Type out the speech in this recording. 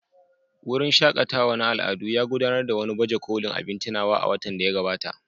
Wurin shaƙatawa na al'adu ya gudanar da wani baje kolin abin tunawa a watan da ya gabata.